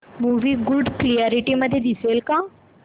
movie good quality मध्ये दिसेल का